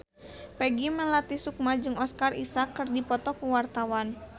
Peggy Melati Sukma jeung Oscar Isaac keur dipoto ku wartawan